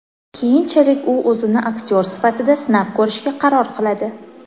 Keyinchalik u o‘zini aktyor sifatida sinab ko‘rishga qaror qiladi.